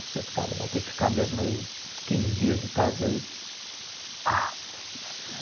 Você ficar lendo, vai ter que ficar mesmo quinze dias em casa aí. Ah